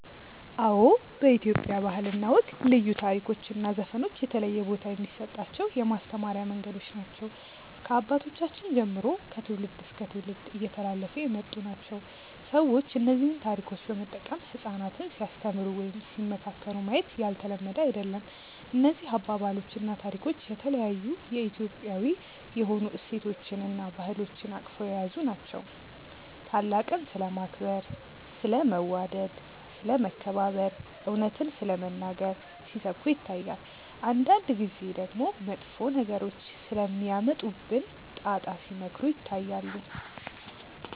አዎ በኢትዮጵያ ባህል እና ወግ ልዩ ታሪኮች እና ዘፈኖች የተለየ ቦታ የሚሰጣቸው የማስተማሪያ መንገዶች ናቸው። ከአባቶቻችን ጀምሮ ከትውልድ እስከ ትውልድ እየተላለፉ የመጡ ናቸው። ሰዎች እነዚህን ታሪኮች በመጠቀም ህጻናትን ሲያስተምሩ ወይም ሲመካከሩ ማየት ያልተለመደ አይደለም። እነዚህ አባባሎች እና ታሪኮች የተለያዩ የኢትዮጵያዊ የሆኑ እሴቶችን እና ባህሎችን አቅፈው የያዙ ናቸው። ታላቅን ስለማክበር፣ ስለ መዋደድ፣ ስለ መከባበር፣ እውነትን ስለመናገር ሲሰብኩ ይታያል። አንዳንድ ጊዜ ደግሞ መጥፎ ነገሮች ስለሚያመጡብን ጣጣ ሲመክሩ ይታያሉ።